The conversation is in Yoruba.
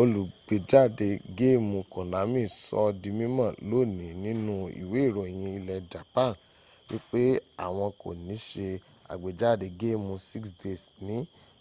olùgbéjáde géèmù konami sọọ́ di mímọ̀ lónìí nínú ìwé ìròyìn ilẹ̀ japan wípé àwọn kò ní se àgbéjáde géèmù six days ní